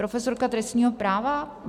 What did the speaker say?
Profesorka trestního práva?